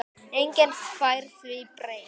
Enginn fær því breytt.